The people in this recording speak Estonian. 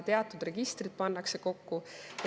Teatud registrid pannakse kokku.